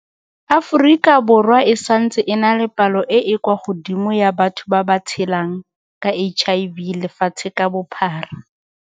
Aforika Borwa e santse e na le palo e e kwa godimo ya batho ba ba tshelang ka HIV lefatshe ka bophara.